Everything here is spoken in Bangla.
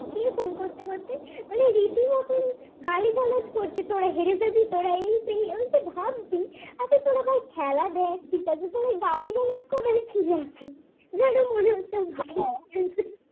রীতি মতন গালিগালাজ করছে কি ফোন করতে করতে ভাই খেলা দেখ ঠিক আছে কিন্তু গালিগালাজ করার কি আছে যেন মনে হচ্ছে কি হায়রে যাচ্ছে